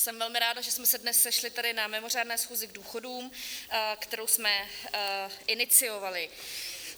Jsem velmi ráda, že jsme se dnes sešli tady na mimořádné schůzi k důchodům, kterou jsme iniciovali.